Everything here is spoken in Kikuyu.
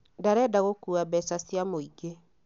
Ndarenda gũkũa mbeca cia mũĩngĩ